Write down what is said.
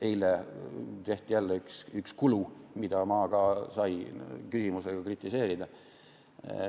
Eile tehti jälle üks kulutus, mida ma sain küsimuse abil kritiseerida.